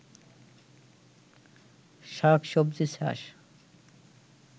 শাক সবজি চাষ